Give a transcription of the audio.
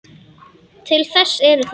Til þess eru þær.